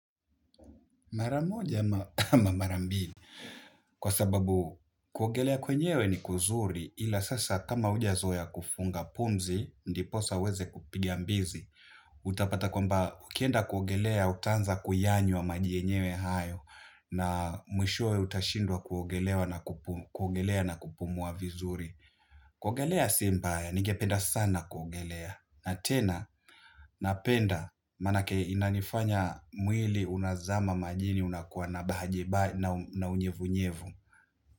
Mara moja ama mara mbili kwa sababu kuogelea kwenyewe ni kuzuri, ila sasa kama hujazoea kufunga pumzi ndiposa uweze kupiga mbizi utapata kwamba ukienda kuogelea utaanza kuyanywa maji yenyewe hayo na mwishowe utashindwa kuogelea na kupumua vizuri. Kuogelea si mbaya, ningependa sana kuogelea na tena, napenda manake inanifanya mwili unazama majini unakuwa na unyevunyevu.